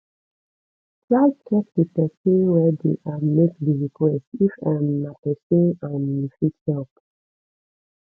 try check di persin wey de um make di request if um na persin um you fit help